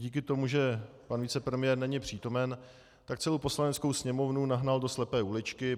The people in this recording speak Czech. Díky tomu, že pan vicepremiér není přítomen, tak celou Poslaneckou sněmovnu nahnal do slepé uličky.